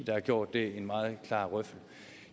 der har gjort det en meget klar røffel